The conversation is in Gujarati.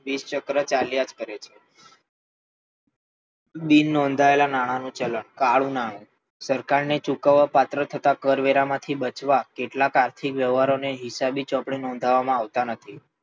વિષચક્ર ચાલ્યા જ કરે છે બિનનોંધાયેલ નાણાંનું ચલણ કાળું નાણું, સરકારને ચૂકવવાપાત્ર થતા કરવેરામાંથી બચવા કેટલાંક આર્થિક વ્યવહારોને હિસાબી ચોપડે નોંધવામાં આવતા નથી